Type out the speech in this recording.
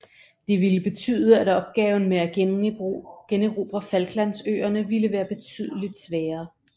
Det ville betyde at opgaven med at generobre Falklandsøerne ville være betydeligt sværere